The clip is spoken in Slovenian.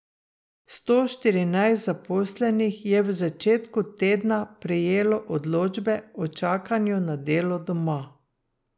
Sto štirinajst zaposlenih je v začetku tedna prejelo odločbe o čakanju na delo doma.